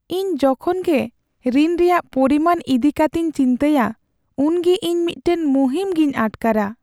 ᱤᱧ ᱡᱚᱠᱷᱚᱱᱜᱮ ᱨᱤᱱ ᱨᱮᱭᱟᱜ ᱯᱚᱨᱤᱢᱟᱱ ᱤᱫᱤ ᱠᱟᱛᱮᱧ ᱪᱤᱱᱛᱟᱹᱭᱟ ᱩᱱᱜᱮ ᱤᱧ ᱢᱤᱫᱴᱟᱝ ᱢᱩᱦᱤᱢ ᱜᱮᱧ ᱟᱴᱠᱟᱨᱟ